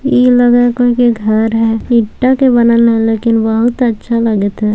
इ लगय हेय कोई के घर हेय ईटा के बनल हेय लेकिन बहुत अच्छा लगएत हेय।